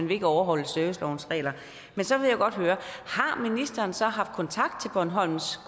vil overholde servicelovens regler men så vil jeg godt høre har ministeren så haft kontakt til bornholms